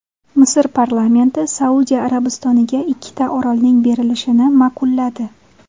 Misr parlamenti Saudiya Arabistoniga ikkita orolning berilishini ma’qulladi.